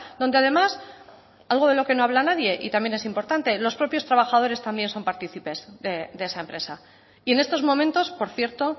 donde además algo de lo que no habla nadie y también es importante los propios trabajadores también son partícipes de esa empresa y en estos momentos por cierto